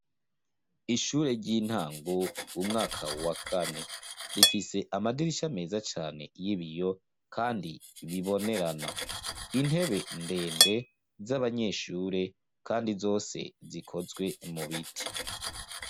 Ishure ry'intango umwaka wakane rifise amadirisha ameza cane y'ibiyo, kandi bibonerana, intebe ndende z'abanyeshure, kandi zose zikozwe mu biti.